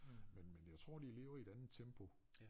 Men men jeg tror de lever i et andet tempo